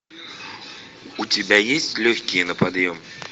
у тебя есть легкие на подъем